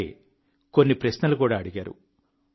అలాగే కొన్ని ప్రశ్నలు కూడా అడిగారు